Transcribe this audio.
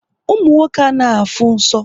Ụmụ nwoke anaghị afụ nsọ